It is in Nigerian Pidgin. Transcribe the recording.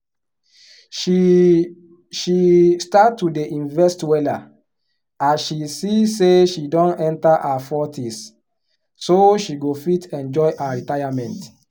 she she start to dey invest wella as she see say she don enter her 40s so she go fit enjoy her retirement